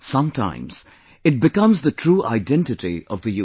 Sometimes, it becomes the true identity of the youth